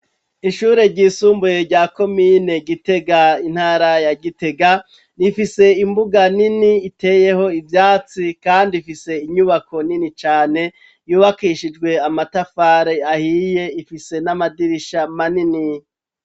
Ishure ryisumbuye rya komine Gitega, intara ya Gitega, rifise imbuga nini iteyeho ivyatsi kandi ifise inyubako nini cane, yubakishijwe amatafari ahiye, ifise n'amadirisha manini.